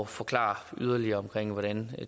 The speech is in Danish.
forklare yderligere hvordan